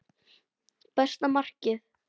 Besta markið?